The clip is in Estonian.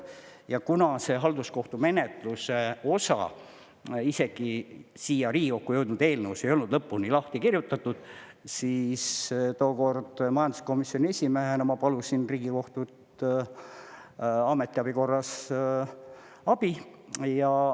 Ja kuna see halduskohtumenetluse osa isegi siia Riigikokku jõudnud eelnõus ei olnud lõpuni lahti kirjutatud, siis tookord majanduskomisjoni esimehena ma paluksin Riigikohtult ametiabi korras abi.